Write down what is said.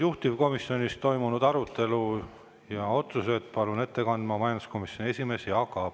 Juhtivkomisjonis toimunud arutelu ja tehtud otsuseid palun ette kandma majanduskomisjoni esimehe Jaak Aabi.